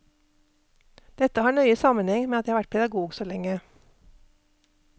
Dette har nøye sammenheng med at jeg har vært pedagog så lenge.